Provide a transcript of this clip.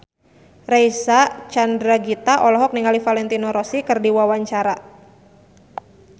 Reysa Chandragitta olohok ningali Valentino Rossi keur diwawancara